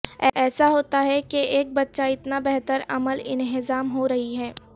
ایسا ہوتا ہے کہ ایک بچہ اتنا بہتر عمل انہضام ہو رہی ہے